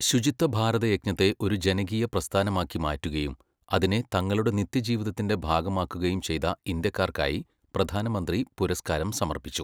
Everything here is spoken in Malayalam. ശുചിത്വ ഭാരതയജ്ഞത്തെ ഒരു ജനകീയ പ്രസ്ഥാനമാക്കിമാറ്റുകയും അതിനെ തങ്ങളുടെ നിത്യജീവിതത്തിന്റെ ഭാഗമാക്കുകയും ചെയ്ത ഇന്ത്യാക്കാർക്കായി പ്രധാനമന്ത്രി പുരസ്ക്കാരം സമർപ്പിച്ചു.